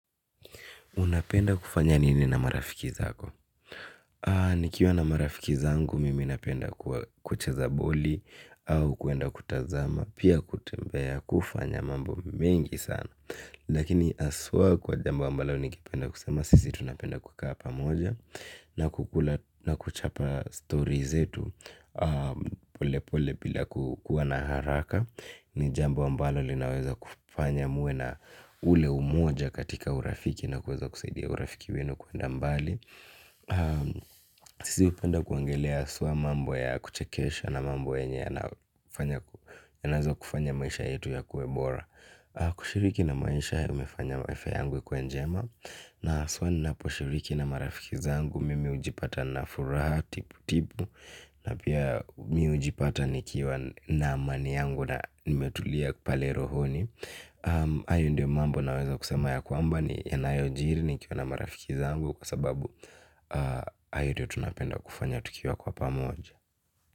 Unapenda kufanya nini na marafiki zako. Nikiwa na marafiki zangu mimi napenda kucheza boli au kuenda kutazama pia kutembea kufanya mambo mengi sana. Lakini aswa kwa jambo ambalo nikipenda kusema sisi tunapenda kukaa pamoja na kuchapa stories zetu pole pole bila kukuwa na haraka. Ni jambo ambalo linaweza kufanya muwe na ule umoja katika urafiki na kuweza kusaidia urafiki wenu kuenda mbali. Sisi upenda kuongelea aswa mambo ya kuchekesha na mambo yenye yanazo kufanya maisha yetu yakue bora. Kushiriki na maisha yamefanya afya yangu ikue njema. Na aswa ninapo shiriki na marafiki zangu mimi ujipata na furaha tipu tipu na pia mimi hujipata na amani yangu. Na nimetulia pale rohoni. Ayo ndio mambo naweza kusema ya kwamba ni yanayo jiri nikiwa na marafiki zangu. Kwa sababu hayo ndo tunapenda. Kufanya tukiwa kwa pamoja.